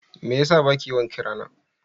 Me yasa baki yawan kirana?